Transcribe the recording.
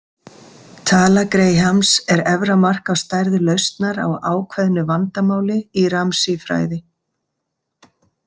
Tala Grahams er efra mark á stærð lausnar á ákveðnu vandamáli í Ramsey-fræði.